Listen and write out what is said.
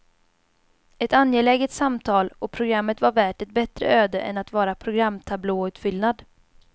Ett angeläget samtal, och programmet var värt ett bättre öde än att vara programtablåutfyllnad.